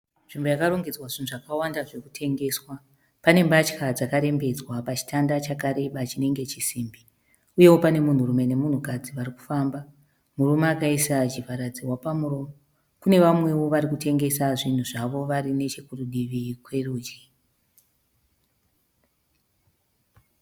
Nzvimbo yakarongedzwa zvinhu zvakawanda zvekutengeswa. Pane mbatya dzakarembedzwa pachitanda chakareba chinenge chisimbi. Uyewo pane munhurume nemunhukadzi varikufamba, murume akaisa chivharadzihwa pamuromo. Kune vamwewo varikutengesa zvinhu zvavo vari nechekurudivi kwerudyi.